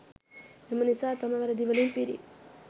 එම නිසා තම වැරදි වලින් පිරි